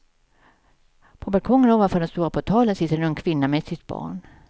På balkongen ovanför den stora portalen sitter en ung kvinna med sitt barn.